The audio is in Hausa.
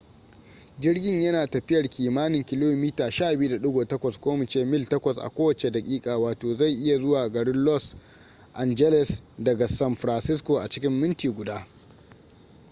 jirgin ya na tafiyar kimanin kilomita 12.8 ko mu ce mil 8 a kowace daƙiƙa wato zai iya zuwa garin los angeles daga san francisco a cikin minti guda